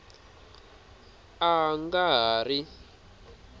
a a nga ha ri